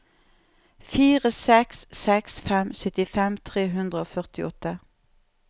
fire seks seks fem syttifem tre hundre og førtiåtte